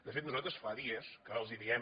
de fet nosaltres fa dies que els diem